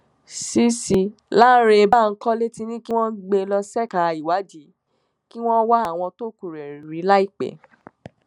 cc lánrẹ bankole ti ní kí wọn gbé e lọ ṣèkà ìwádìí kí wọn wá àwọn tókù rẹ rí láìpẹ